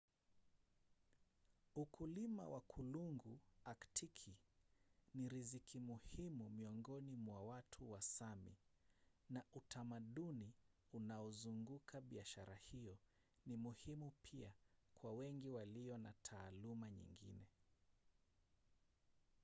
ukulima wa kulungu aktiki ni riziki muhimu miongoni mwa watu wa sámi na utamaduni unaozunguka biashara hiyo ni muhimu pia kwa wengi walio na taaluma nyingine